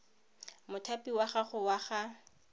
mothapi wa gago wa ga